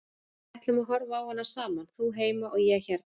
Við ætlum að horfa á hana saman, þú heima og ég hérna.